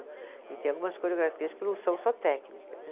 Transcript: Ele tem algumas coreografias que não são só técnicas, né.